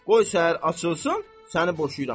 Qoy səhər açılsın, səni boşuyuram.